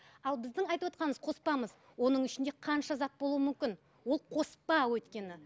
ал біздің айтывотқанымыз қоспамыз оның ішінде қанша зат болуы мүмкін ол қоспа өйткені